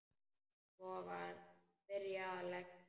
Svo var byrjað að leggja.